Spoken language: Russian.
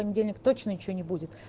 понедельник точно ничего не будет